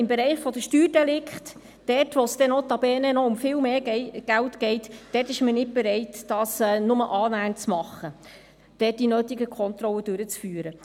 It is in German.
Im Bereich der Steuerdelikte, dort, wo es notabene um viel mehr Geld geht, ist man nicht bereit, das auch nur annähernd zu tun und dort die notwendigen Kontrollen durchzuführen.